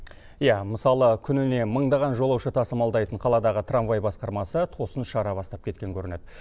иә мысалы күніне мыңдаған жолаушы тасымалдайтын қаладағы трамвай басқармасы тосын шара бастап кеткен көрінеді